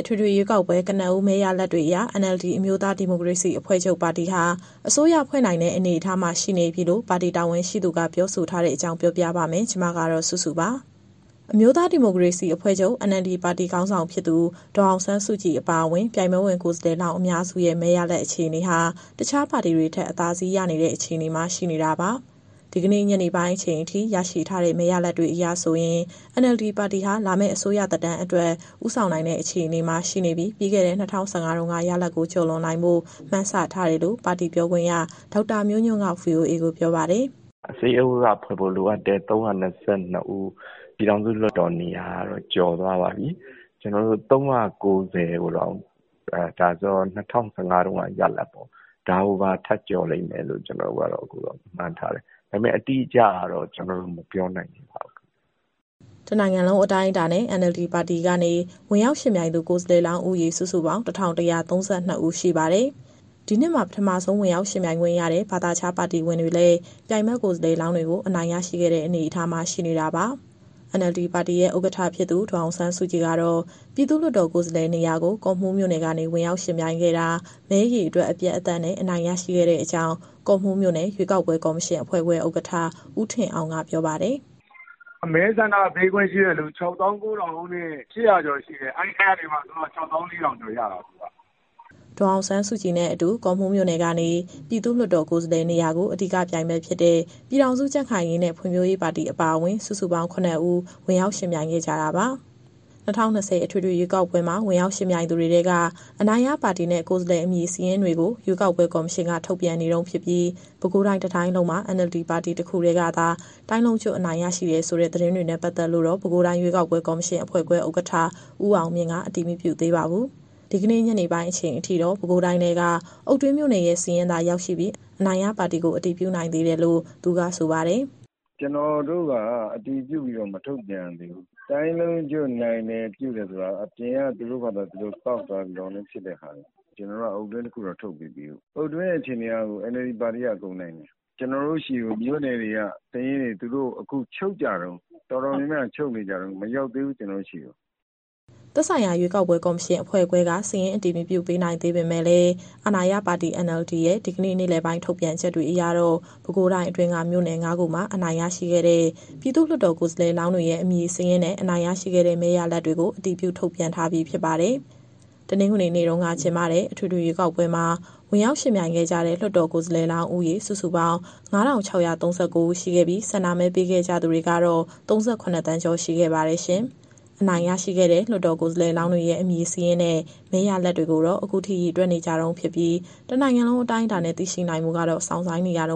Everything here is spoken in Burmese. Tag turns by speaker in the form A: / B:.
A: အထွေထွေရွေးကောက်ပွဲ ကနဦး မဲရလဒ်တွေအရ NLD အမျိုးသားဒီမိုကရေစီအဖွဲ့ချုပ်ပါတီဟာ အစိုးရဖွဲ့နိုင်တဲ့အနေအထားမှာ ရှိနေပြီလို့ ပါတီတာဝန်ရှိသူက ပြောဆိုထားပါတယ်။ ဒီသတင်းကို ဗွီအိုအေမြန်မာပိုင်း သတင်းထောက် မစုစုက တင်ဆက်ပေးမှာပါ။ အမျိုးသားဒီမိုကရေစီအဖွဲ့ချုပ် NLD ပါတီခေါင်းဆောင်ဖြစ်သူ ဒေါ်အောင်ဆန်းစုကြည်အပါအဝင်၊ ပြိုင်ပွဲဝင်ကိုယ်စားလှယ်လောင်း အများစုရဲ့ မဲရလဒ်အခြေအနေဟာ တခြားပါတီတွေထက် အသာစီးရနေတဲ့ အခြေအနေမှာ ရှိနေတာပါ။ ဒီကနေ့ ညနေပိုင်းအချိန်အထိ ရရှိထားတဲ့ မဲရလဒ်စာရင်းတွေအရဆိုရင် NLD ပါတီဟာ လာမယ့်အစိုးရသက်တမ်းအတွက် ဦးဆောင်နိုင်တဲ့အခြေအနေမှာ ရှိနေပြီး ပြီးခဲ့တဲ့ ၂၀၁၅ တုန်းက ရလဒ်ကိုကျော်လွန်နိုင်ဖို့ မှန်းထားတယ်လို့ ပါတီပြောခွင့်ရ ဒေါက်တာမျိုးညွန့်က VOA ကိုပြောပါတယ်။
B: “အစိုးရဖွဲ့ဖို့ လိုအပ်တဲ့ ၃၂၂ ဦး၊ ပြည်ထောင်စုလွှတ်တော်နေရာကတော့ ကျော်သွားပါပြီ။ ကျနော်တို့ ၃၉၀ ကိုတောင် ဒါဆိုတော့ ၂၀၁၅ တုန်းက ရလဒ်ပေါ့။ ဒါကိုပါ ထပ်ကျော်လိမ့်မယ်လို့ ကျနော်တို့ကတော့ အခုတော့မှန်းထားတယ်။ ဒါပေမဲ့ အတိအကျကတော့ ကျနော်တို့မပြောနိုင်သေးပါဘူး
A: ။” တနိုင်ငံလုံးအတိုင်းအတာနဲ့ NLD ပါတီကနေ ဝင်ရောက်ယှဉ်ပြိုင်သူ ကိုယ်စားလှယ်လောင်းဦးရေ စုစုပေါင်း ၁,၁၃၂ ဦးရှိပါတယ်။ ဒီနှစ်မှာ ပထမဆုံး ဝင်ရောက်ယှဉ်ပြိုင်ခွင့်ရတဲ့ ဘာသာခြားပါတီဝင်တွေလည်း ပြိုင်ဖက်ကိုယ်စားလှယ်လောင်းတွေကို အနိုင်ရရှိခဲ့တဲ့ အနေအထားမှာရှိနေတာပါ။ NLD ပါတီရဲ့ ဥက္ကဋ္ဌ ဖြစ်သူ ဒေါ်အောင်ဆန်းစုကြည်ကတော့ ပြည်သူ့လွှတ်တော်ကိုယ်စားလှယ်နေရာကို ကော့မှူးမြို့နယ်ကနေ ဝင်ရောက်ယှဉ်ပြိုင်ခဲ့တာ မဲအရေအတွက်အပြတ်အသတ်နဲ့ အနိုင်ရရှိခဲ့တဲ့အကြောင်း ကော့မှူးမြို့နယ်၊ ရွေးကောက်ပွဲကော်မရှင်အဖွဲ့ခွဲ ဥက္ကဋ္ဌ ဦးထင်အောင်ကပြောပါတယ်
C: ။ “မဲဆန္ဒပေးခွင့်ရှိတဲ့သူ ၆၉,၈၀၀ ကျော်ရှိတယ်။ အဲဒီထဲကနေမှ ဒေါ်အောင်ဆန်းစုကြည်က ၆၄,၀၀၀ ကျော်ရတာ။”
A: ဒေါ်အောင်ဆန်းစုကြည်နဲ့အတူ ကော့မှူးမြို့နယ်ကနေ ပြည်သူ့လွှတ်တော်ကိုယ်စားလှယ်နေရာကို အဓိကပြိုင်ဖက်ဖြစ်တဲ့ ပြည်ထောင်စုကြံ့ခိုင်ရေးနဲ့ ဖွံ့ဖြိုးရေးပါတီအပါအဝင်၊ စုစုပေါင်း ၇ ဦး ဝင်ရောက်ယှဉ်ပြိုင်ခဲ့ကြတာပါ။ ၂၀၂၀ အထွေထွေရွေးကောက်ပွဲမှာ ဝင်ရောက်ယှဉ်ပြိုင်သူတွေထဲက အနိုင်ရပါတီနဲ့ ကိုယ်စားလှယ်အမည်စာရင်းတွေကို ရွေးကောက်ပွဲကော်မရှင်က ထုတ်ပြန်နေတုန်းဖြစ်ပြီး၊ ပဲခူးတိုင်းတတိုင်းလုံးမှာ NLD ပါတီတခုတည်းကသာ တိုင်းလုံးကျွတ်အနိုင်ရရှိတယ်ဆိုတဲ့ သတင်းတွေနဲ့ ပတ်သက်လို့တော့ ပဲခူးတိုင်း၊ ရွေးကောက်ပွဲကော်မရှင်အဖွဲ့ခွဲ ဥက္ကဋ္ဌ ဦးအောင်မြင့်က အတည်မပြုသေးပါဘူး။ ဒီကနေ့ ညနေပိုင်းအချိန်ထိတော့ ပဲခူးတိုင်းထဲက အုတ်တွင်းမြို့နယ်ရဲ့ စာရင်းသာရောက်ရှိပြီး အနိုင်ရပါတီကို အတည်ပြုနိုင်သေးတယ်လို့ သူကဆိုပါတယ်။
C: “ကျနော်တို့က အတည်ပြုပြီးတော့ မထုတ်ပြန်ရသေးဘူး။ တိုင်းလုံးကျွတ်နိုင်တယ်ဆိုတာက အပြင်ကနေသူတို့ဘာသူတို့ စာရင်းကောက်သွားတာတွေ။ ကျနော်တို့က အုတ်တွင်းတခုတော့ ထုတ်ပြီးပြီ။ အုတ်တွင်းရဲ့အခြေအနေကတော့ NLD ပါတီက အကုန်နိုင်တယ်။ ကျနော်တို့ဆီကို မြို့နယ်တွေက စာရင်းတွေ အခုချုပ်ကြတုန်း။ တော်တော်များများက ချုပ်ကြတုန်း။ (တတိုင်းလုံးစာရင်း) မရောက်သေးဘူး၊ ကျနော်တို့ဆီကို။”
A: သက်ဆိုင်ရာရွေးကောက်ပွဲ ကော်မရှင်အဖွဲ့ခွဲက စာရင်းအတည်မပြုသေးနိုင်ပေမဲ့လည်း အာဏာရပါတီ NLD ရဲ့ ဒီကနေ့ နေ့လယ်ပိုင်း ထုတ်ပြန်ချက်တွေအရတော့ ပဲခူးတိုင်းအတွင်းက မြို့နယ် ၅ ခုမှာ အနိုင်ရရှိခဲ့တဲ့ ပြည်သူ့လွှတ်တော်ကိုယ်စားလှယ်လောင်းတွေရဲ့ အမည်စာရင်းနဲ့ အနိုင်ရရှိခဲ့တဲ့ မဲရလဒ်တွေကို အတည်ပြုထုတ်ပြန်ထားပြီးဖြစ်ပါတယ်။ တနင်္ဂနွေနေ့က ကျင်းပခဲ့တဲ့ အထွေထွေရွေးကောက်ပွဲမှာ ဝင်ရောက်ယှဉ်ပြိုင်ခဲ့ကြတဲ့ လွှတ်တော်ကိုယ်စားလှယ်လောင်းဦးရေ စုစုပေါင်း ၅,၆၃၉ ဦး ရှိခဲ့ပြီး၊ ဆန္ဒမဲပေးခဲ့ကြသူတွေကတော့ ၃၇ သန်းကျော် ရှိခဲ့ပါတယ်ရှင်။ အနိုင်ရရှိခဲ့တဲ့ လွှတ်တော်ကိုယ်စားလှယ်တွေရဲ့ အမည်စာရင်းနဲ့ မဲရလဒ်တွေကိုတော့ အခုထိရေတွက်နေကြတုန်းဖြစ်ပြီး တနိုင်ငံလုံးအတိုင်းအတာနဲ့ သိရှိနိုင်ဖို့ကတော့ စောင့်ဆိုင်းနေရတ